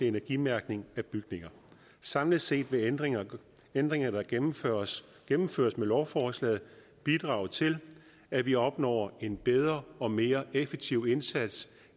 energimærkning af bygninger samlet set vil ændringer ændringer der gennemføres gennemføres med lovforslaget bidrage til at vi opnår en bedre og mere effektiv indsats